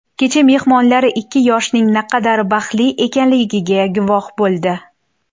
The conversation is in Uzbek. Kecha mehmonlari ikki yoshning naqadar baxtli ekanligiga guvoh bo‘ldi.